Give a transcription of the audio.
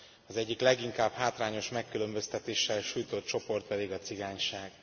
Az egyik leginkább hátrányos megkülönböztetéssel sújtott csoport pedig a cigányság.